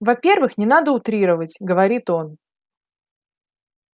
во-первых не надо утрировать говорит он